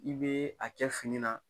I be a kɛ fini na